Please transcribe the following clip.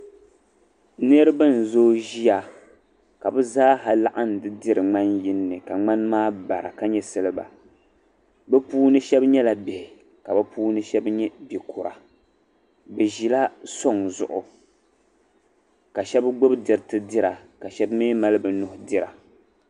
Niraba n zooi ʒiya ka bi zaaha laɣim di diri ŋmani yinni ka ŋmani maa bara ka nyɛ silba bi puuni shabi nyɛla Bihi ka bi puuni shab nyɛ bikura bi ʒila soŋ zuɣu bi shab nyɛla bikura ka shaba nyɛ bibihi